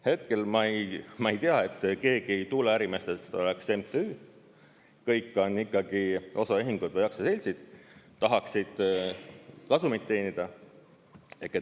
Hetkel ma ei tea, et keegi ei tuuleärimeestest oleks MTÜ-s, kõik on ikkagi osaühingud või aktsiaseltsid, tahaksid kasumit teenida.